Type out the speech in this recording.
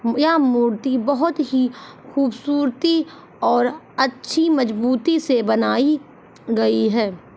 यहां मूर्ति बहोत ही खूबसुरती और अच्छी मजबूती से बनाई गई हैं।